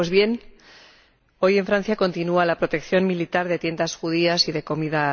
Pues bien, hoy, en Francia, continúa la protección militar de tiendas judías y de comida